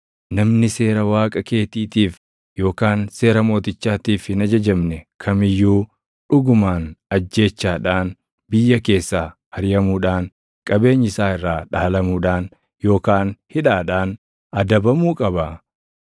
Namni seera Waaqa keetiitiif yookaan seera mootichaatiif hin ajajamne kam iyyuu dhugumaan ajjeechaadhaan, biyya keessaa ariʼamuudhaan, qabeenyi isaa irraa dhaalamuudhaan yookaan hidhaadhaan adabamuu qaba.